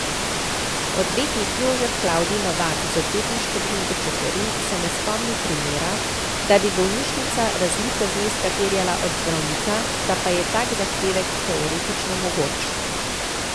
Odvetnik Jožef Klavdij Novak z Odvetniške družbe Čeferin se ne spomni primera, da bi bolnišnica razliko zneska terjala od zdravnika, da pa je tak zahtevek teoretično mogoč.